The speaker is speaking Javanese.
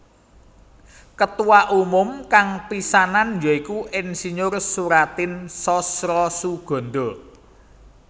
Ketuwa umum kang pisannan ya iku Ir Soeratin Sosrosoegondo